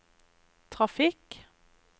trafikk